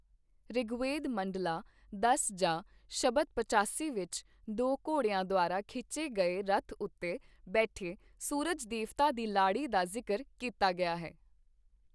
ਰਿਗਵੇਦ ਮੰਡਲਾ ਦਸ ਜਾਂ ਸ਼ਬਦ ਪਚਾਸੀ ਵਿੱਚ, ਦੋ ਘੋੜਿਆਂ ਦੁਆਰਾ ਖਿੱਚੇ ਗਏ ਰਥ ਉੱਤੇ ਬੈਠੇ ਸੂਰਜ ਦੇਵਤਾ ਦੀ ਲਾੜੀ ਦਾ ਜ਼ਿਕਰ ਕੀਤਾ ਗਿਆ ਹੈ।